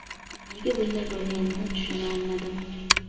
Nega bunday bo‘lganini tushuna olmadim.